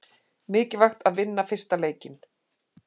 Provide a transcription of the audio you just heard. Mikilvægt að vinna fyrsta leikinn